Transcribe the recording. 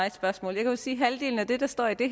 et spørgsmål jeg kan sige at halvdelen af det der står i det